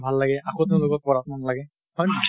ভাল লাগে, আকৌ তেওঁলোকক পঢ়াত মন লাগে। হয় নে?